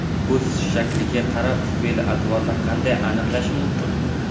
Ko‘z shakliga qarab fe’l-atvorni qanday aniqlash mumkin?.